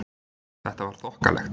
Þetta var þokkalegt.